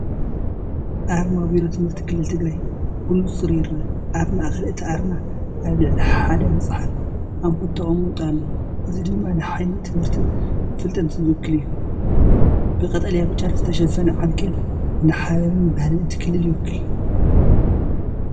ኣርማ ቢሮ ትምህርቲ ክልል ትግራይ ብንፁር ይርአ። ኣብ ማእከል እቲ ኣርማ ኣብ ልዕሊ ሓደ መጽሓፍ ኣምፑል ተቐሚጡ ኣሎ፤ እዚ ድማ ንሓይሊ ትምህርትን ፍልጠትን ዝውክል እዩ። ብቀጠልያን ብጫን ዝተሸፈነ ዓንኬል ንሓበን ባህልን እቲ ክልል ይውክል።